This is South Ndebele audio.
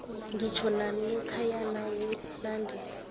ngitjho nalokhuya nawunande